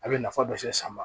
A bɛ nafa dɔ se san ma